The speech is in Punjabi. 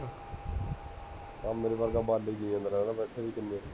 ਆਹ ਮੇਰੇ ਵਰਗਾ ਬਾਲੇ ਹੀ ਗਿਣੀ ਜਾਂਦਾ ਆਰਾਮ ਨਾਲ ਬੈਠੇ ਵੀ ਕਿੰਨੇ ਹੈ